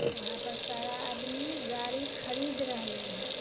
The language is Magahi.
उहाँ पर सारा आदमी गाड़ी खरीद रहली ह।